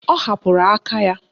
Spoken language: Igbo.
Ọ hapụrụ aka ya.